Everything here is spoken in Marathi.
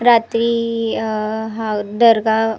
रात्री ई ई अ ह दरगा.